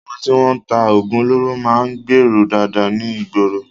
Àwọn tí wọ́n ń ta oògùn olóró máa ń gbèèrú dáadáa ní ìgboro.